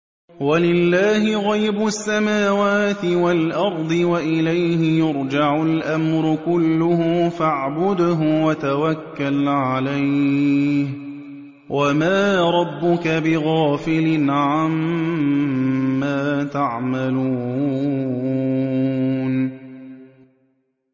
وَلِلَّهِ غَيْبُ السَّمَاوَاتِ وَالْأَرْضِ وَإِلَيْهِ يُرْجَعُ الْأَمْرُ كُلُّهُ فَاعْبُدْهُ وَتَوَكَّلْ عَلَيْهِ ۚ وَمَا رَبُّكَ بِغَافِلٍ عَمَّا تَعْمَلُونَ